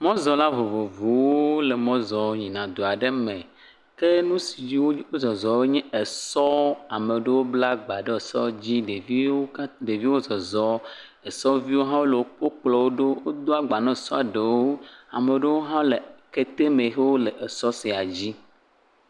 Mɔzɔla vovovovo le mɔ zɔ yina du aɖe me, ke nusi dzi wo zɔzɔ nye esɔ̃. Ameɖewo bla gbe ɖe esia dzi, ɖeviwo ka deviwo zɔzɔ, esɔ̃viwo ha wo kplɔ woɖo, wo do agbaãna esɔ̃ eɖewo, ameɖewo ha le kete me hewo le esɔ̃ sia dzi.